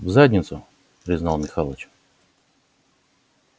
в задницу признал михалыч